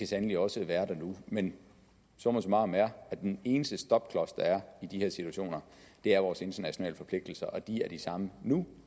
sandelig også være der nu men summa summarum er at den eneste stopklods der er i de her situationer er vores internationale forpligtelser og de er de samme nu